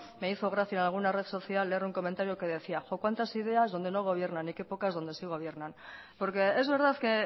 me hizo gracia en alguna red social leer un comentario que decía jo cuántas ideas donde no gobiernan y que pocas donde sí gobiernan porque es verdad que